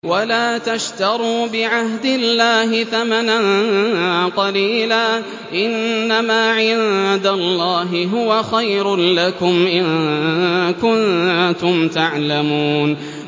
وَلَا تَشْتَرُوا بِعَهْدِ اللَّهِ ثَمَنًا قَلِيلًا ۚ إِنَّمَا عِندَ اللَّهِ هُوَ خَيْرٌ لَّكُمْ إِن كُنتُمْ تَعْلَمُونَ